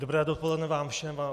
Dobré dopoledne vám všem.